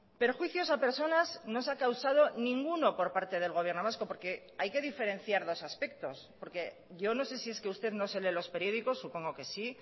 perjuicios a personas no se ha causado ninguno por parte del gobierno vasco porque hay que diferenciar dos aspectos porque yo no sé si es que usted no se lee los periódicos supongo que sí